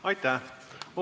Aitäh!